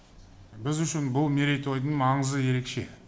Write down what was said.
біз үшін бұл мерейтойдың маңызы ерекше